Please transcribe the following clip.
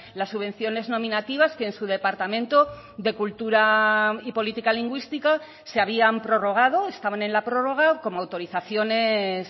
las subvenciones nominativas que en su departamento de cultura y política lingüística se habían prorrogado estaban en la prórroga como autorizaciones